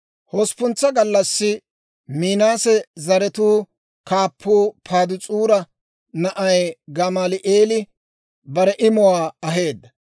Hosppuntsa gallassi Minaase zaratuu kaappuu Padaas'uura na'ay Gamaali'eeli bare imuwaa aheedda.